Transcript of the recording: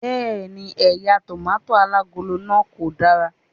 Bẹ́ẹ̀ni, eya tòmátósì alágolo náà ko dara